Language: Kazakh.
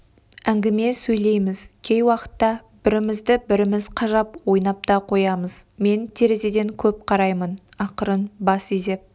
әңгіме сөйлейміз кей уақытта бірімізді-біріміз қажап ойнап та қоямыз мен терезеден көп қараймын ақырын бас изеп